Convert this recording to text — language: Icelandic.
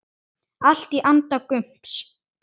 Allt í anda Gumps.